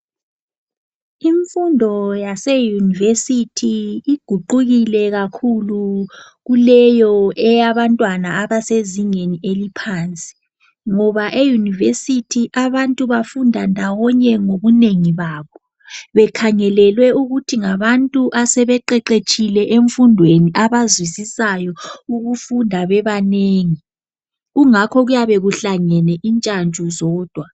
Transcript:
Imfundo yase univesithi iguqukile kakhulu kuleyo eyabantwana abasezingeni eliphansi ngoba eyunivesithi abantu bafunda ndawonye ngobunengi babo bekhangelelwe ukuthi ngabantu asebeqeqetshile emfundweni abazwisisayo ukufunda bebanengi kungakho kuyabe kuhlangene intshantshu zodwa.